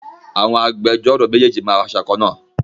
Àwọn agbẹjọ́ró méjèèjì máa wọ aṣọ kan-náà